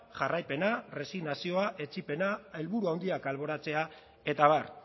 jarraipena erresignazioa etsipena handiak alboratzea eta abar